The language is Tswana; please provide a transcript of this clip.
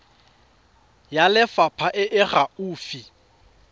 ya lefapha e e gaufi